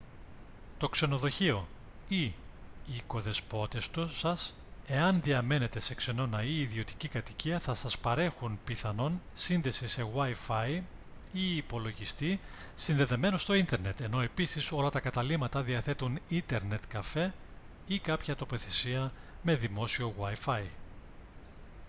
το ξενοδοχείο ή οι οικοδεσπότες σας εάν διαμένετε σε ξενώνα ή ιδιωτική κατοικία θα σας παρέχουν πιθανόν σύνδεση σε wifi ή υπολογιστή συνδεδεμένο στο ίντερνετ ενώ επίσης όλα τα καταλύματα διαθέτουν ίντερνετ καφέ ή κάποια τοποθεσία με δημόσιο wifi